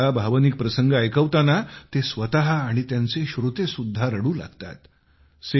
अनेकदा भावनिक प्रसंग ऐकवताना ते स्वतः आणि त्यांचे श्रोतेसुद्धा रडू लागतात